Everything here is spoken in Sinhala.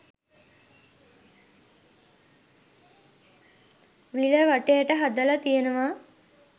විල වටේට හදල තියනවා.